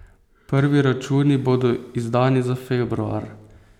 Prvi računi bodo izdani za februar.